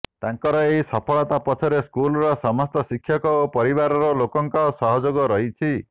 ତାଙ୍କର ଏହି ସଫଳତା ପଛରେ ସ୍କୁଲର ସମସ୍ତ ଶିକ୍ଷକ ଓ ପରିବାର ଲୋକଙ୍କର ସହଯୋଗ ରହିଛି